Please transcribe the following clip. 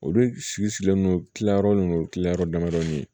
Olu sigi sigilen do kilayɔrɔ kilan yɔrɔ damadɔni